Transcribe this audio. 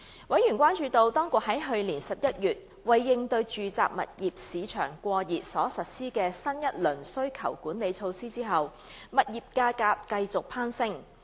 委員關注到，當局在去年11月為應對住宅物業市場過熱所實施的新一輪需求管理措施後，物業價格繼續攀升。